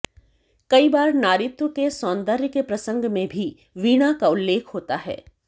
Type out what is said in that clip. कई बार नारीत्व के सौंदर्य के प्रसंग में भी वीणा का उल्लेख होता है